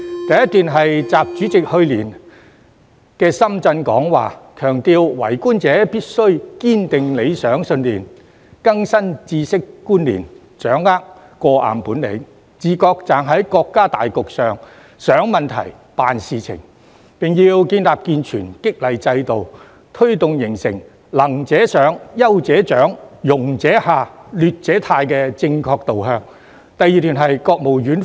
第一段是習主席去年在深圳的講話，強調為官者必須堅定理想信念、更新知識觀念、掌握過硬本領，自覺站在國家大局上想問題、辦事情，並要建立健全激勵制度，推動形成"能者上、優者獎、庸者下、劣者汰"的正確導向。